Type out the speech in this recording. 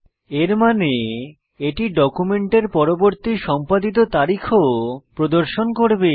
এর মানে এটি ডকুমেন্টের পরবর্তী সম্পাদিত তারিখও প্রদর্শন করবে